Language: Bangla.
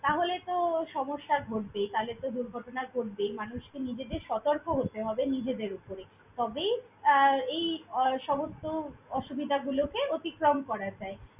তাহলে তো সমস্যা ঘটবেই, তাহলে তো দুর্ঘটনা ঘটবেই। মানুষকে নিজেদের সতর্ক হতে হবে নিজেদের ওপরে তবেই আহ এই সমস্ত অসুবিধাগুলোকে অতিক্রম করা যায়।